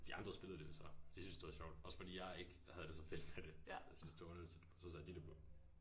De andre spillede det jo så. De synes det var sjovt også fordi jeg ikke havde det så fedt med det og synes det var underligt så satte de det på